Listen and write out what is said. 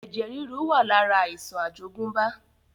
Ẹ̀jẹ̀ ríru wá lára àìsàn àjogúnbá